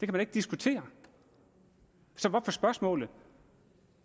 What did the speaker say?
man ikke diskutere så hvorfor spørgsmålet